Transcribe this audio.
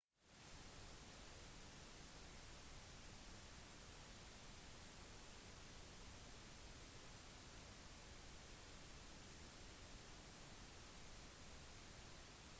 i løpet av den nomadiske fasen marsjerer vandremaur om natten og stopper opp for å slå leir i løpet av dagen